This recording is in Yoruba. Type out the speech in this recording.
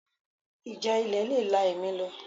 Ìjà ilẹ̀ le la ẹ̀mí lọ